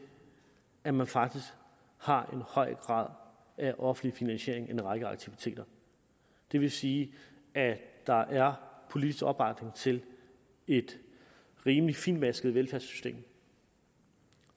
at man faktisk har en høj grad af offentlig finansiering af en række aktiviteter det vil sige at der er politisk opbakning til et rimelig fintmasket velfærdssystem